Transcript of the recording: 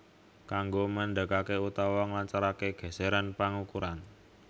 Kanggo mandekaké utawa nglancaraké gèsèran pangukuran